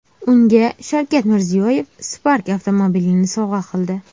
Unga Shavkat Mirziyoyev Spark avtomobilini sovg‘a qildi.